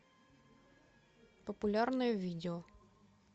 популярное видео